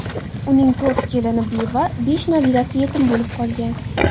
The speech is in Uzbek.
Uning to‘rt kelini beva, besh nabirasi yetim bo‘lib qolgan.